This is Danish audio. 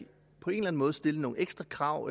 på en eller anden måde stille nogle ekstra krav